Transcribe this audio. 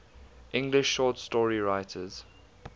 english short story writers